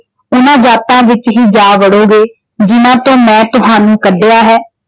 ਉਹਨਾਂ ਜਾਤਾਂ ਵਿੱਚ ਹੀ ਜਾ ਵੜੋਂਗੇ ਜਿੰਨਾਂ ਤੋਂ ਮੈਂ ਤੁਹਾਨੂੰ ਕੱਢਿਆ ਹੈ।